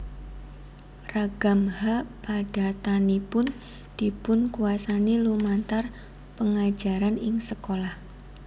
Ragam H padatanipun dipunkuwasani lumantar pengajaran ing sekolah